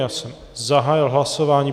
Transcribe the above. Já jsem zahájil hlasování.